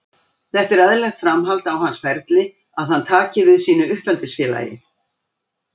Þetta er eðlilegt framhald á hans ferli að hann taki við sínu uppeldisfélagi.